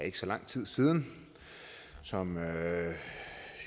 ikke så lang tid siden og som